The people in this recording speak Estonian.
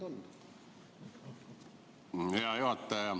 Hea juhataja!